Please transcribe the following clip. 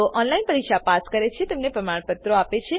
જેઓ ઓનલાઈન પરીક્ષા પાસ કરે છે તેઓને પ્રમાણપત્રો આપે છે